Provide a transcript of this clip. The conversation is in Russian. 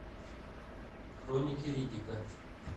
хроники риддика